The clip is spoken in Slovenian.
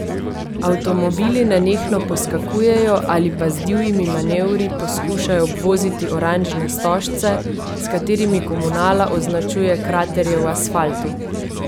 Avtomobili nenehno poskakujejo ali pa z divjimi manevri poskušajo obvoziti oranžne stožce, s katerimi komunala označuje kraterje v asfaltu.